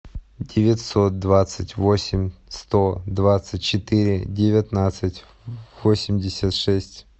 девятьсот двадцать восемь сто двадцать четыре девятнадцать восемьдесят шесть